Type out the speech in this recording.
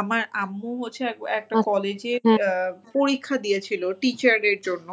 আমার আম্মু হচ্ছে পরীক্ষা দিয়েছিলো teacher এর জন্য।